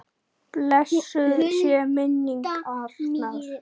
Blessuð sé minning Arnar.